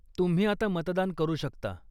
तुम्ही आता मतदान करू शकता.